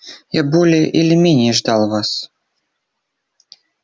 я более или менее ждал вас